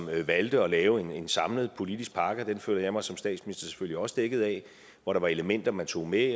valgte at lave en samlet politisk pakke og den føler jeg mig som statsminister selvfølgelig også dækket af hvor der var elementer man tog med